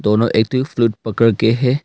दोनों एक दूसरे को पकड़ के है।